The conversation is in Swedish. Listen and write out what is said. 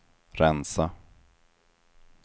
rensa